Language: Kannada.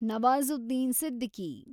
ನವಾಜುದ್ದೀನ್ ಸಿದ್ದಿಕಿ